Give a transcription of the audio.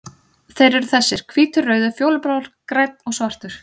Þeir eru þessir: Hvítur, rauður, fjólublár, grænn og svartur.